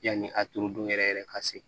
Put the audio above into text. Yanni a turu don yɛrɛ yɛrɛ ka se